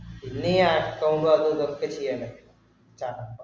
പിന്നീ അതും ഇതും ഒക്കെ ചെയ്യേണ്ടേ എനിക്കറപ്പാ